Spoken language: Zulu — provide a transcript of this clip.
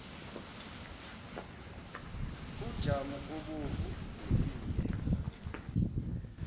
ujamu obomvu netiye